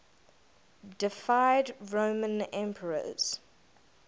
deified roman emperors